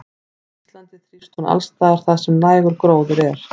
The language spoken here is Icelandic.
Á Íslandi þrífst hún alls staðar þar sem nægur gróður er.